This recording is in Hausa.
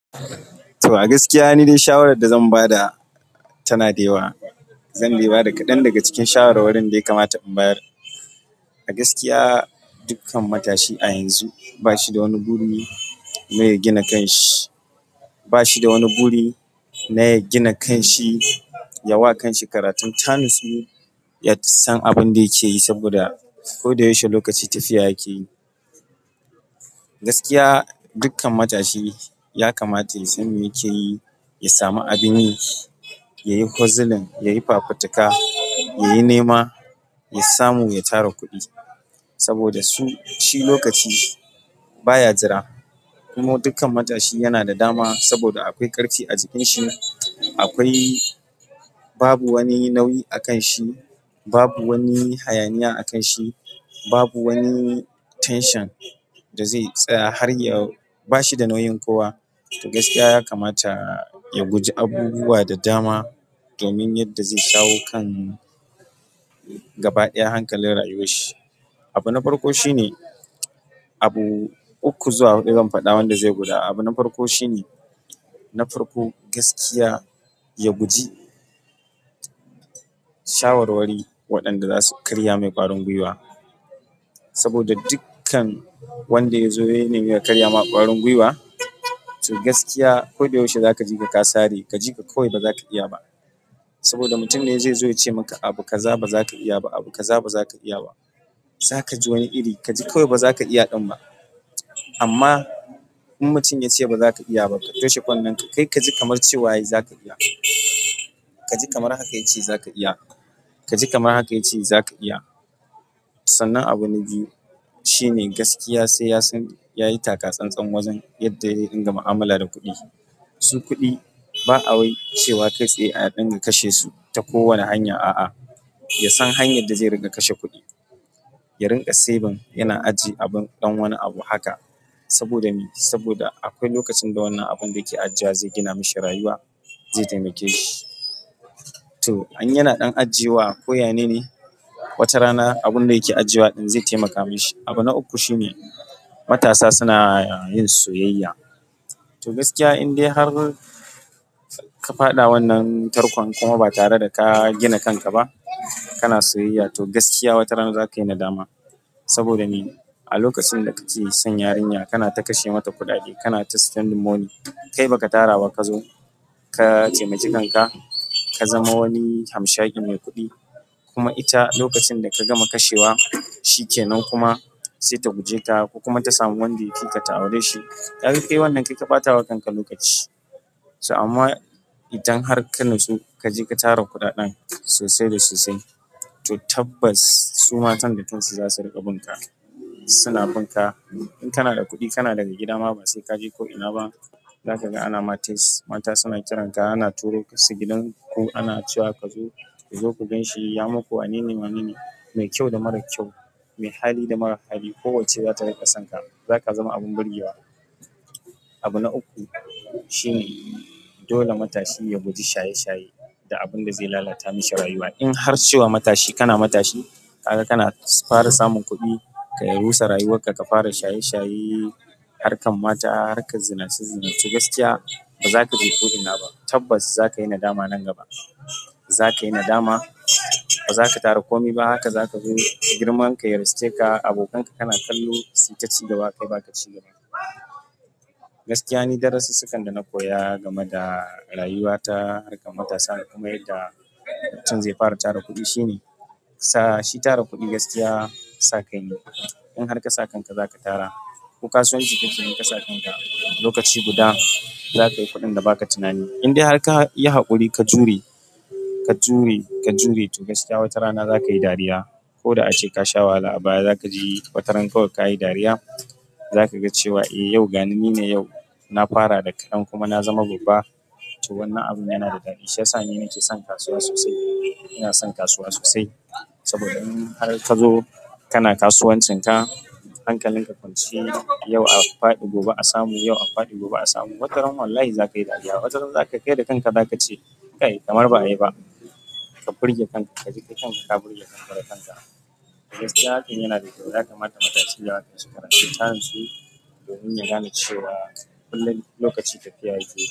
To, a gaskiya dai nidai shawarar da zan bada tanada yawa. Zan dai bada kaɗan daga cikin shawarwarin da ya kamata in bayar. A gaskiya dukkan matashi a yanzu ba shida wani buri na ya gina kan shi, ba shida wani buri na ya gina kan shi. Yawa kanshi karatun, tanatsu ya san abunda yake yi saboda koda yaushe lokaci tafiya yake yi. Gaskiya dukkan matashi ya kamata ya san me yake yi, ya sami abin yi, ya yi hozzulin, ya yi fafutuka, ya yi nema, ya samu, ya tara kuɗi saboda su shi lokaci baya jira. Kuma dukkan matashi yana da dama saboda akwai ƙarfi a jikin shi. Akwai. Babu wani nauyi a kan shi. Babu wani hayaniya a kan shi. Babu wani tension da zai tsaya har ya. Bashi da nauyin kowa. To gaskiya ya kamata ya guji abubuwa da dama domin yadda zai shawo kan gaba ɗaya hankalin rayuwar shi. Abu na farko shine abu uku zuwa huɗu zan faɗa wanda zai guda. Abu na farko shine na farko gaskiya, ya guji shawarwari waɗanda zasu karya mai ƙwarin gwiwa. Saboda dukkan wanda ya zo yana nemi ya karya ma ƙwarin gwiwa. To gaskiya koda yaushe za ka ji ka kasare, ka jiƙa kawai ba zaka iya ba, saboda mutum ne ze zo yace maka abu kaza ba zaka iya ba abu kaza ba zaka iya ba. Za ka ji wani iri kaji kawai ba zaka iya ɗin ba. Amma in mutum yace ba zaka iya ba, ka toshe kunnen ka kai kaji kamar cewa yayi zaka iya. Ka ji kamar haka yace zaka iya. Ka ji kamar haka yace zaka iya. Sannna abu na biyu shine gaskiya sai yasan yayi taka tsantsan wajen yanda ze dinga mu'amala da kuɗi. Su kuɗi ba awai cewa kai tsaye a dinga kashe su ta kowane hanya. A'a, yasan hanyar da zai ringa kashe kuɗi. Ya ringa saving yana ajiye abun ɗan wani abu haka saboda me? Saboda akwai lokacin da wannan abun da yake ajewa zai gina mashi rayuwa, zai taimake shi. To in yana ɗan ajewa koya nene wata rana abunda yake ajewa ɗin zai taimaka mashi. Abu na uku shine matasa suna yin soyayya. To gaskiya in dai har ka faɗa wannan tarkon kuma ba tare da ka gina kanka ba, kana soyayya, to gaskiya wataran za kayi nadama. Saboda me? A lokacin da kake son yarinya kana ta kashe mata kuɗaɗe, kana ta spending money. Kai baka taraba ka zo ka taimake kanka ka zama wani hamshaƙin mai kuɗi kuma ita lokacin da ka gama kashewa shi kenan kuma sai ta guje ka ko kuma ta samu wanda ya fika ta aure shi. Kaga kai wannan kai ka ɓata wa kanka lokaci. To amma idan har ka natsu, kaje ka tara kuɗaɗen sosai da sosai, to tabbas su matan da kansu za su rinƙa bunka. Suna bunka in kanada kuɗi kanada mai gidama ba sai kaje ko ina ba zaka ga anama test mata suna kiranka, ana turo kansu gidan ku, ana cewa ka zo ka zo ku ganshi ya muku wanene wanene, mai kyau da mara kyau, mai hali da mara hali. Kowacce zata riƙa son ka. Zaka zama abun burgewa abu na uku shine dole matashi ya guji shaye shaye da abunda zai lalata mishi rayuwa. In har cewa matashi kana matashi, kaga kana fara samun kuɗi, ka rusa rayuwar ka, ka fara shaye shaye, harkar mata, harkar zinace zinace, gaskiya ba za kaje ko ina ba. Tabbas za ka yi nadama nan gaba. Za ka yi nadama. Ba zaka tara kome ba. Haka zaka zo girman ka ya ruske ka, abokanka kana kallo suyi taci gaba kai baka ci gaba. Gaskiya ni darasussukan dana koya game da rayuwa ta harkar matasa kuma yadda mutum zai fara tara kuɗi shine sa shi tara kuɗi gaskiya sa kaine. In har kasa kanka zaka tara, ko kasuwanci ka keyi in kasa kanka lokaci guda za kayi kuɗin da baka tunani. In dai har kayi haƙuri ka jure, ka jure, ka jure. To gaskiya watarana za kayi dariya. Ko da ace kasha wahala a baya, za kaji wataran kawai kayi dariya. Za kaga cewa eh, yau gani nine yau na fara da kaɗan kuma na zama babba. To wannan abun yana da daɗi shiyasa ni nake son kasuwa sosai. Ina son kasuwa sosai saboda in har ka zo kana kasuwancin ka, hankalin ka kwance, yau a faɗi gobe a samu, yau a faɗi gobe a samu. Wataran wallahi za kayi dariya. Wataran za ka kaida kanka za kace, kai kamar ba'a yi ba. Ka birge kanka, ka ji kai kanka ka birge kanka da kanka. Gaskiya hakan yana da kyau. Ya kamata matashi daraja, ka kare taransu domin ya gane cewa kullum lokaci tafiya yake.